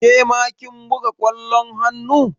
Ke ma kin buga ƙwallon hannu?